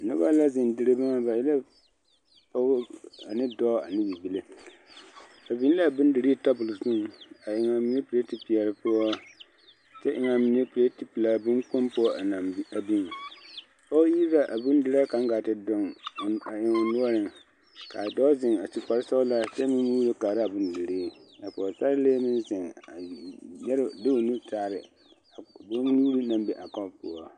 Noba la zeŋ dire boma ba e la pɔɡe ane dɔɔ ane bibile ba biŋ la a bondirii tabol zuŋ a eŋ a mine peleti peɛle poɔ kyɛ eŋ a mine peleti pelaa boŋkpoŋ poɔ a biŋ pɔɡe iri la a bondiraa kaŋ ɡaa te doɡe eŋ o noɔreŋ ka a dɔɔ zeŋ a su kparsɔɡelaa kyɛ meŋ muulo kaara a bondirii pɔɔsarelee meŋ zeŋ de o nu taare bonnyuuri na be a kɔp poɔ.